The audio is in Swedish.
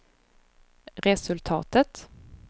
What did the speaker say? resultatet